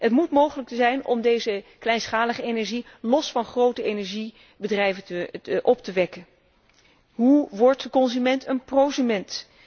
Het moet mogelijk zijn om deze kleinschalige energie los van grote energiebedrijven op te wekken. Hoe wordt de consument een prosument?